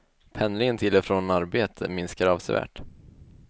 Pendlingen till och från arbete minskar avsevärt.